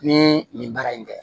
Ni nin baara in kɛ